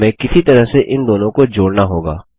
हमें किसी तरह से इन दोनों को जोड़ना होगा